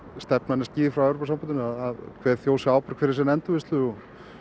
stefnan er skýr frá Evrópusambandinu að hver þjóð sé ábyrg fyrir sinni endurvinnslu og